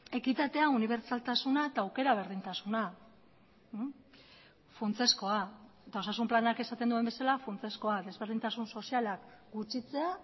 ekitatea unibertsaltasuna eta aukera berdintasuna funtsezkoa eta osasun planak esaten duen bezala funtsezkoa desberdintasun sozialak gutxitzea